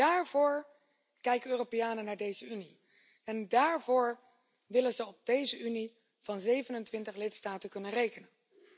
Daarvoor kijken Europeanen naar deze Unie en daarvoor willen ze op deze Unie van 27 lidstaten kunnen rekenen.